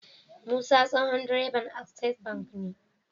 Musa tsohon direban access bank ne